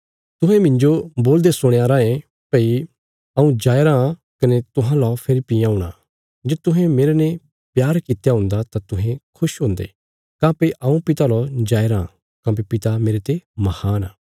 तुहें मिन्जो बोलदे सुणयां रायें भई हऊँ जाया राँ कने तुहां ला फेरी बी औणा जे तुहें मेरने प्यार कित्या हुंदा तां तुहें खुश हुंदे काँह्भई हऊँ पिता लौ जाया राँ काँह्भई पिता मेरते महान आ